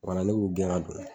Wala ne b'u gɛn ka don.